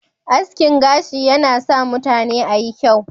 Askin gashi na sa mutane ayi kyau.